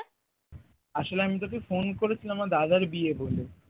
আসলে আমি তোকে phone করে ছিলাম আমার দাদার বিয়ে বলে